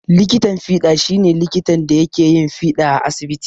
Likitan fiɗa shi ne likitan da yake yin fiɗa a asibiti.